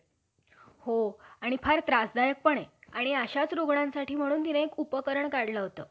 ब्राम्हणांचे मूळ पूर्वज जे ऋषी~ ऋषिवर्य तेच श्राद्धाचे निमित्ताने गायी मारून त्यांच्या मासाची नाना तऱ्हेचे पक्वाने करून खात होते.